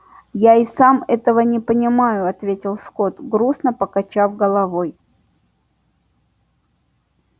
я и сам этого не понимаю ответил скотт грустно покачав головой